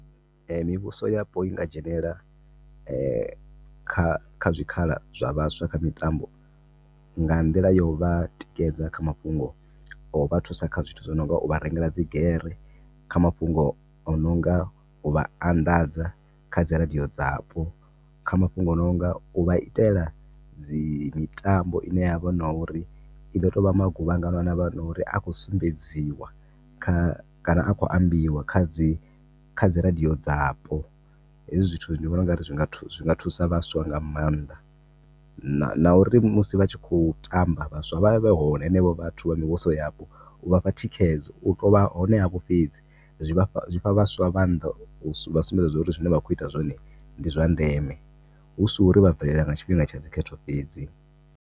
Mivhuso yapo i nga dzhenelela kha zwikhala zwa vhaswa kha mitambo nga nḓila ya u vha tikedza kha mafhungo o vha thusa kha zwithu zwi no nga u vha rengela dzi gere kha mafhungo o no nga u vha anḓadza kha dzi radio dzapo. Kha mafhungo o no nga u vha itela dzi, mitambo i ne ya vha u nga uri i ḓo tou vha maguvhangano a ne a vha uri a khou sumbedziwa kha kana a khou ambiwa kha dzi, dzi radio dzapo. Hezwi zwithu ndi vhona u nga ri zwi nga thusa, zw nga thusa vhaswa nga maanḓa. Na uri musi vha tshi khou tamba vhaswa vha vhe vha hone vhenevho vhathu vha mivhuso yapo u vha fha thikhedzo. U tou vha hone havho fhedzi zwi fha vhaswa, zwi fha vhaswa maanḓa u vha sumbedza uri zwine vha khou ita zwone ndi zwa ndeme. Hu si uri vha bvelela nga tshifhinga tsha dzi khetho fhedzi.